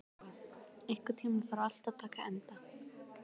Elinóra, einhvern tímann þarf allt að taka enda.